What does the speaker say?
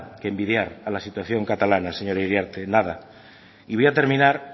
que envidiar a la situación catalana señora iriarte nada y voy a terminar